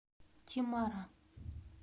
темара